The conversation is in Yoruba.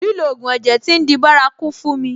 Lílo ògùn ẹ̀jẹ̀ tí ń di bárakú fún mi.